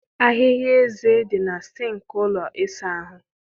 Ahịhịa eze dị na sịnkị ụlọ ịsa ahụ.